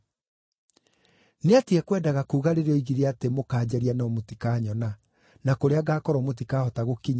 Nĩ atĩa ekwendaga kuuga, rĩrĩa oigire atĩ, ‘Mũkaanjaria no mũtikanyona’ na ‘kũrĩa ngaakorwo mũtikahota gũkinya’?”